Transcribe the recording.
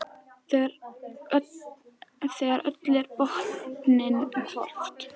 Þegar öllu er á botninn hvolft.